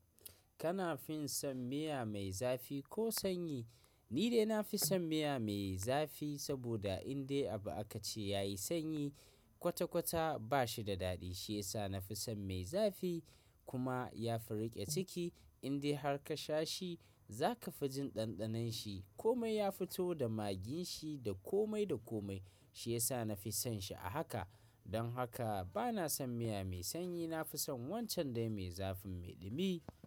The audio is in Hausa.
Kana fin san miya mai zafi ko sanyi? Ni dai nafi son miya mai zafi, saboda in dai abu aka ce ya yi sanyi kwata-kwata ba shi da daɗi. Shi yasa na fi son mai zafi kuma ya fi riƙe ciki. In dai har ka sha shi za ka fi jin ɗanɗanon shi. Komai ya fito da magin shi da komai da komai. Shi yasa na fi son shi a haka. Don haka ba na son miya mai sanyi. Na fi son wancan dai mai zafin mai ɗumi.